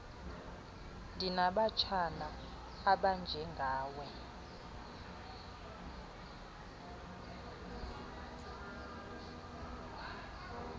ndinabatshana abanje ngawe